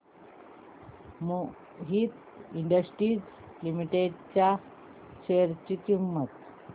Mohit industries limited च्या share ची किंमत